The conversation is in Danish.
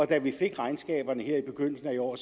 da vi fik regnskaberne her i begyndelsen af i år